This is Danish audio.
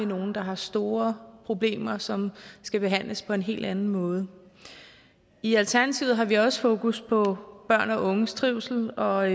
nogle der har store problemer og som skal behandles på en helt anden måde i alternativet har vi også fokus på børn og unges trivsel og